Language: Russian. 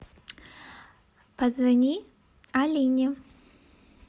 позвони алине